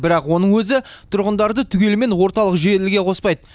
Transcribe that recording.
бірақ оның өзі тұрғындарды түгелімен орталық желіге қоспайды